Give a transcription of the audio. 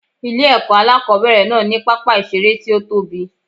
Ilé èkó alákòóbèrè náà ní pápá ìseré tí ó tóbi